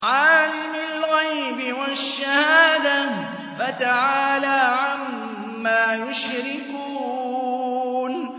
عَالِمِ الْغَيْبِ وَالشَّهَادَةِ فَتَعَالَىٰ عَمَّا يُشْرِكُونَ